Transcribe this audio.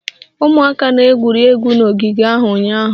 Ụmụaka na-egwuri egwu n'ogige ahụ ụnyaahụ